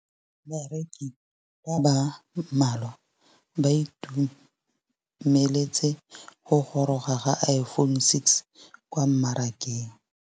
Bareki ba ba malwa ba ituemeletse go gôrôga ga Iphone6 kwa mmarakeng.